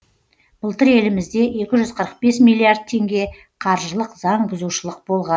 былтыр елімізде екі жүз қырық бес миллиард теңге қаржылық заң бұзушылық болған